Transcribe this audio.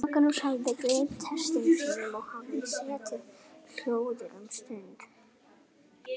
Magnús hafði gleymt hestum sínum og hafði setið hljóður um stund.